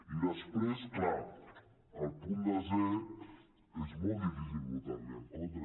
i després clar al punt desè és molt difícil votar·li en contra